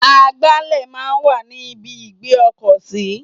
Agbálẹ̀ máa ń wà ní ibi ìgbé ọkọ̀ sí.